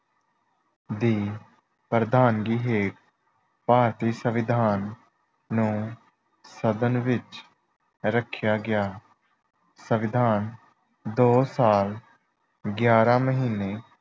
ਦੀ ਪ੍ਰਧਨਗੀ ਹੇਠ ਭਾਰਤੀ ਸੰਵਿਧਾਨ ਨੂੰ ਸਦਨ ਵਿੱਚ ਰੱਖਿਆ ਗਿਆ। ਸੰਵਿਧਾਨ ਦੋ ਸਾਲ ਗਿਆਰਾਂ ਮਹੀਨੇ